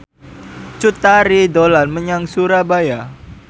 Cut Tari dolan menyang Surabaya